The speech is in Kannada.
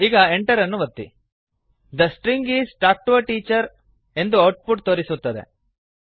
the string is talk T O A Teacherದ string is talk to a teacher ಎಂದು ಔಟ್ ಪುಟ್ ತೋರಿಸುತ್ತದೆ